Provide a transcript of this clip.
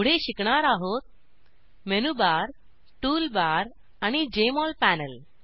पुढे शिकणार आहोत मेनू बार टूल बार आणि जेएमओल पॅनल